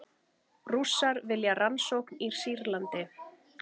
Rússar vilja rannsókn í Sýrlandi